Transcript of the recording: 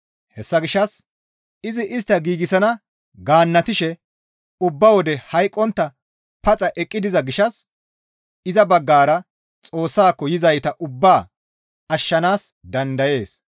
Hessa gishshas izi istta giigsana gaannatishe ubba wode hayqqontta paxa eqqi diza gishshas iza baggara Xoossaako yizayta ubbaa ashshanaas dandayees.